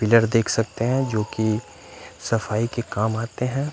Pillar देख सकते हैं जोकि सफाई के काम आते हैं।